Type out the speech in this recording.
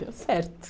Deu certo.